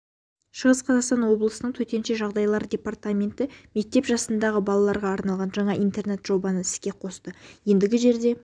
шығыс қазақстан облысының төтенше жағдайлар департаменті мектеп жасындағы балаларға арналған жаңа интернет-жобаны іске қосты ендігі жерде